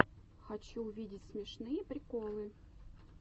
хочу увидеть смешные приколы